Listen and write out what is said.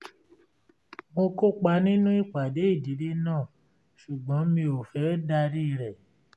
mo kópa nínú ìpàdé ìdílé náà ṣùgbọ́n mi ò fẹ́ darí rẹ̀